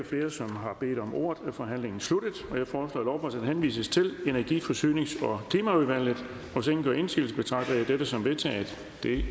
flere som har bedt om ordet er forhandlingen sluttet jeg foreslår at lovforslaget henvises til energi forsynings og klimaudvalget hvis ingen gør indsigelse betragter jeg dette som vedtaget det